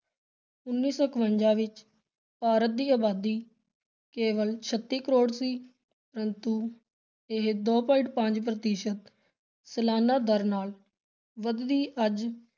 ਉੱਨੀ ਸੌ ਇਕਵੰਜਾ ਵਿਚ ਭਾਰਤ ਦੀ ਅਬਾਦੀ ਕੇਵਲ ਛੱਤੀ ਕਰੋੜ ਸੀ ਪਰੰਤੂ ਇਹ ਦੋ point ਪੰਜ ਪ੍ਰਤੀਸ਼ਤ ਸਾਲਾਨਾ ਦਰ ਨਾਲ ਵਧਦੀ ਅੱਜ